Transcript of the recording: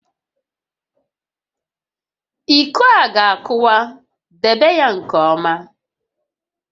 Iko a ga-akụwa, debe ya nke ọma!